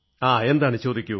എന്താണ് ചോദിക്കൂ